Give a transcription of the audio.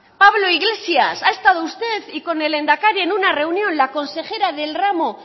pablo iglesias ha estado con usted y con el lehendakari en una reunión la consejera del ramo